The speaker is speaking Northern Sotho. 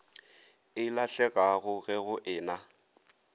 e lahlegago ge go ena